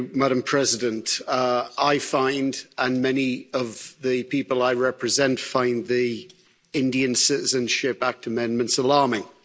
Madam President, I find and many of the people I represent find the Indian Citizenship Act amendments alarming.